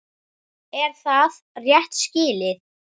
Er það rétt skilið?